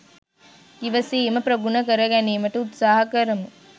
ඉවසීම ප්‍රගුණ කර ගැනීමට උත්සාහ කරමු.